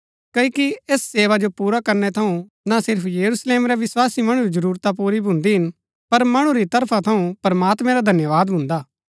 क्ओकि ऐस सेवा जो पुरा करनै थऊँ ना सिर्फ यरूशलेम रै विस्वासी मणु री जरूरता पुरी भून्दी हिन पर मणु री तरफा थऊँ प्रमात्मैं रा धन्यवाद भून्दा हा